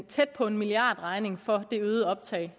tæt på en milliardregning for det øgede optag